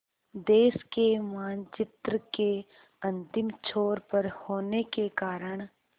देश के मानचित्र के अंतिम छोर पर होने के कारण